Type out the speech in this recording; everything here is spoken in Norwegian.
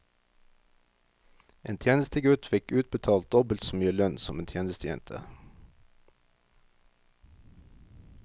En tjenestegutt fikk utbetalt dobbelt så mye lønn som en tjenestejente.